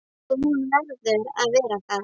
Og hún verður að vera það.